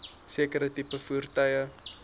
sekere tipe voertuie